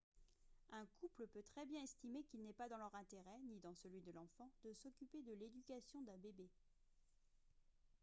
un couple peut très bien estimer qu'il n'est pas dans leur intérêt ni dans celui de l'enfant de s'occuper de l'éducation d'un bébé